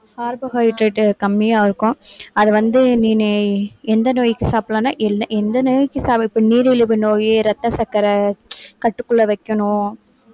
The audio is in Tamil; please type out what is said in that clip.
carbohydrate கம்மியா இருக்கும் அது வந்து நீனு எந்த நோய்க்கு சாப்பிடலாம்னா எல்~ எந்த நோய்க்கு இப்ப நீரிழிவு நோய் ரத்த சர்க்கரை கட்டுக்குள்ள வைக்கணும்